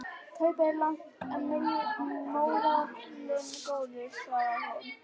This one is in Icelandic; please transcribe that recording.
Kaupið er lágt en mórallinn góður, svarar hún.